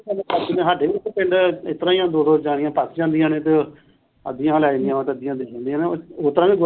ਸਾਡੇ ਵੀ ਇੱਥੇ ਪਿੰਡ ਇਸ ਤਰਾਂ ਹੀ ਆ ਦੋ ਦੋ ਜਣੀਆਂ ਪਥ ਜਾਂਦੀਆਂ ਨੇ ਤੇ ਅੱਧੀਆ ਉਹ ਲੈ ਜਾਂਦੀਆਂ ਉਹ ਤੇ ਅੱਧੀਆ ਦੇ ਜਾਂਦੀਆਂ ਉਸ ਤਰਾਂ ਵੀ ।